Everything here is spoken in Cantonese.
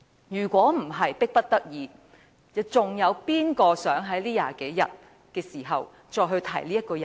如非迫不得己，有誰會想在這20多天的時間，再次提起這個人？